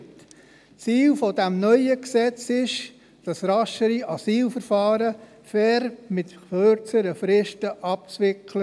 Das Ziel des neuen Gesetzes ist es, raschere Asylverfahren mit kürzeren Firsten fair abzuwickeln.